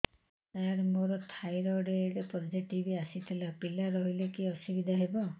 ସାର ମୋର thyroid positive ଆସିଥିଲା ପିଲା ରହିଲେ କି ଅସୁବିଧା ହେବ